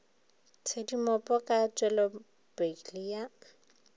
tshedimopo ka ga tpwelopele ya